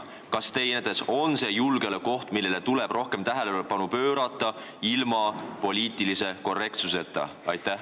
Kas teie meelest on see julgeolekuoht, millele tuleb rohkem tähelepanu pöörata ilma poliitilise korrektsuseta?